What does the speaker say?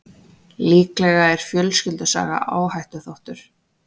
Líklega er fjölskyldusaga áhættuþáttur.